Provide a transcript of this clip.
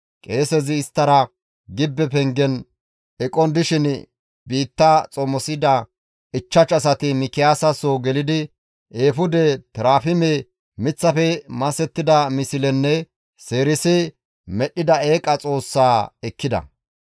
Qeesezi isttara gibbe pengen eqon dishin biitta xomosida 5 asati Mikiyaasa soo gelidi, eefude, terafime, miththafe masettida mislenne seerisi medhdhida eeqa xoossaa ekkida.